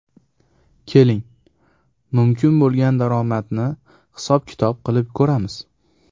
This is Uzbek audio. Keling , mumkin bo‘lgan daromadni hisob - kitob qilib ko‘ramiz !